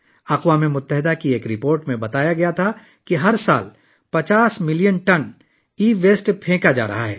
اقوام متحدہ کی ایک رپورٹ میں بتایا گیا کہ ہر سال 50 ملین ٹن ای ویسٹ پھینکا جاتا ہے